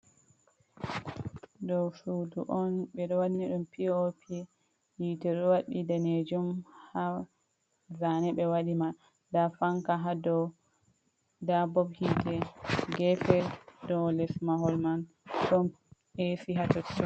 Ɗow sudu on ɓe ɗo wanni ɗum pop hitee ɗo waddi ɗanejum ha zane ɓe waɗi man, nda fanka ha dow, nda bob hitte gefe dow les mahol man ɗon esi ha totton.